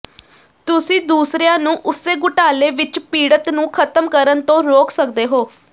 ਤੁਸੀਂ ਦੂਸਰਿਆਂ ਨੂੰ ਉਸੇ ਘੁਟਾਲੇ ਵਿਚ ਪੀੜਤ ਨੂੰ ਖਤਮ ਕਰਨ ਤੋਂ ਰੋਕ ਸਕਦੇ ਹੋ